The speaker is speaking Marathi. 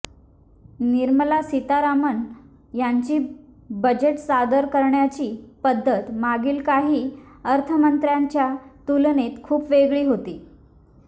निर्मला सीतारामन यांची बजेट सादर करण्याची पद्धत मागील काही अर्थमंत्र्यांच्या तुलनेत खूप वेगळी होती